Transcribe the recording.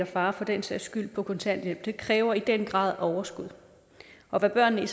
far for den sags skyld på kontanthjælp kræver i den grad overskud og hvad børnene i